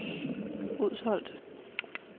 Udsholt